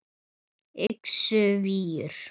Yxu víur